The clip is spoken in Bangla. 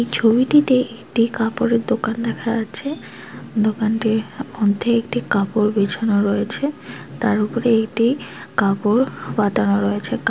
এই ছবিটিতে একটি কাপড়ের দোকান দেখা যাচ্ছে দোকানটির মধ্যে একটি কাপড় বিছানো রয়েছে তার ওপর এটি কাপড় পাতানো রয়েছে কা --